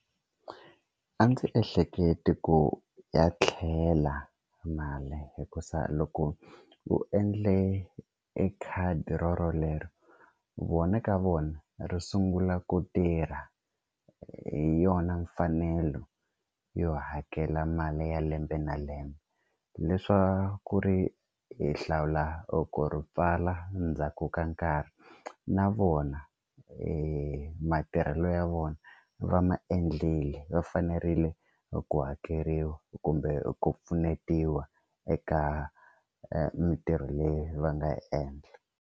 A ndzi ehleketi ku ya tlhela mali hikusa loko u endle e khadi rorolero vona ka vona ri sungula ku tirha hi yona mfanelo yo hakela mali ya lembe na lembe leswaku ri hi hlawula ku ri pfala ndzhaku ka nkarhi na vona e matirhelo ya vona va ma endleli va fanerile ku hakeriwa kumbe ku pfunetiwa eka mintirho leyi va nga yi endla.